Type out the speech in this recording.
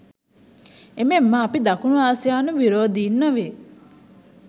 එමෙන්ම අපි දකුණු ආසියානු විරෝදින් නොවේ